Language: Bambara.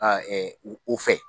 A o fɛ.